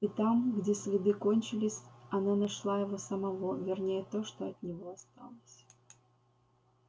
и там где следы кончились она нашла его самого вернее то что от него осталось